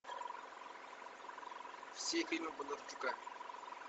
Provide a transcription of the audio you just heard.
все фильмы бондарчука